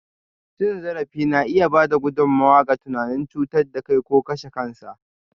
Cin zarafi na iya ba da gudummawa ga tunanin cutar da kai ko kashe kansa.